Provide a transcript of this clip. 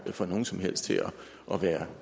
få nogen som helst til at være